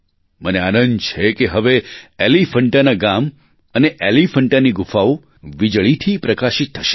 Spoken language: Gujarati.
મને આનંદ છે કે હવે એલીફૅન્ટાના ગામ અને એલીફૅન્ટાની ગુફાઓ વીજળીથી પ્રકાશિત થશે